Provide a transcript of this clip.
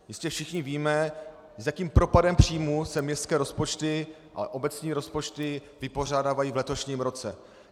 Jistě všichni víme, s jakým propadem příjmů se městské rozpočty a obecní rozpočty vypořádávají v letošním roce.